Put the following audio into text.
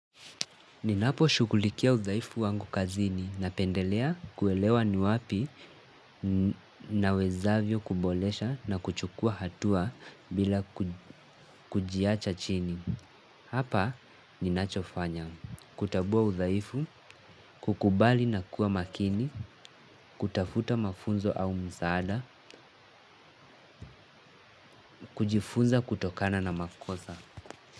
Ninapo shughulikia udhaifu wangu kazini napendelea kuelewa ni wapi nawezavyo kuboresha na kuchukua hatua bila kujiacha chini. Hapa ninachofanya kutambua udhaifu, kukubali na kuwa makini, kutafuta mafunzo au msaada, kujifunza kutokana na makosa.